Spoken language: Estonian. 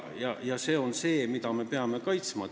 Kas see on see, mida me peame kaitsma?